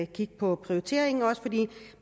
kigge på prioriteringen fordi